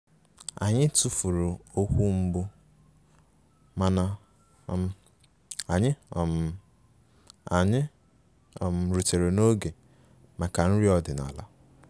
Anyị tụfuru okwu mbụ mana um anyị um anyị um rutere n'oge maka nri ọdịnala